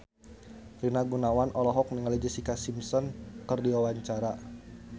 Rina Gunawan olohok ningali Jessica Simpson keur diwawancara